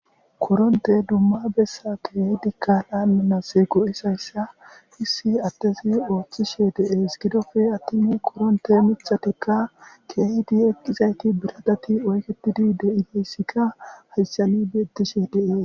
koronte dumma bessa keehidikka laaminas go7isayssa hissi adtesi oothchishe de7ees gidofe attimi koronte michatikka keehidi eqqizayti biradati oyketidi de7ideyssikka hasshani bietishe dees